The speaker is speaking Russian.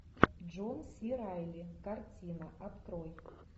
джон си райли картина открой